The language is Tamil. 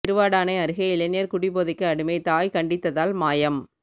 திருவாடானை அருகே இளைஞா் குடி போதைக்கு அடிமை தாய் கண்டித்ததால் மாயம்